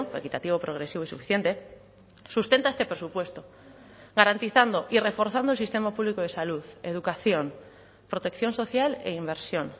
equitativo progresivo y suficiente sustenta este presupuesto garantizando y reforzando el sistema público de salud educación protección social e inversión